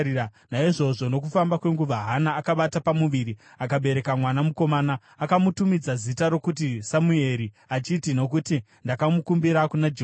Naizvozvo nokufamba kwenguva, Hana akabata pamuviri akabereka mwana mukomana. Akamutumidza zita rokuti Samueri, achiti, “Nokuti ndakamukumbira kuna Jehovha.”